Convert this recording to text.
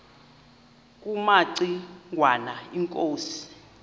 kumaci ngwana inkosi